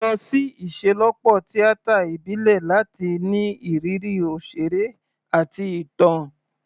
Lọ sí ìṣelọ́pọ̀ tíátà ìbílẹ̀ láti ní ìrírí òṣèré àti ìtàn.